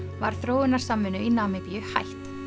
var þróunarsamvinnu í Namibíu hætt